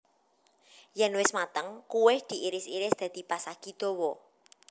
Yen wis mateng kuweh diiris iris dadi pasagi dawa